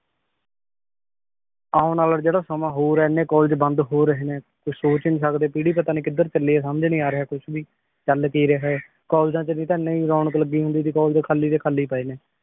ਆਉਣ ਵਾਲਾ ਜਿਹੜਾ ਸਮਾਂ ਹੋਰ ਏ ਇੰਨੇ ਕਾਲਜ ਬੰਦ ਹੋ ਰਹੇ ਨੇ ਕੁਛ ਸੋਚ ਈ ਨੀ ਸਕਦੇ ਪੀੜੀ ਪਤਾਨੀ ਕਿੱਧਰ ਚੱਲੀ ਏ ਸਮਝ ਈ ਨੀ ਆ ਰਿਹਾ ਕੁਛ ਵੀ ਚੱਲ ਕੀ ਰਿਹਾ ਏ ਕਾਲਜਾਂ ਚ ਵੀ ਤਾਂ ਏਨੀ ਰੌਣਕ ਲੱਗੀ ਹੁੰਦੀ ਸੀ ਕਾਲਜ ਖਾਲੀ ਦੇ ਖਾਲੀ ਪਏ ਨੇ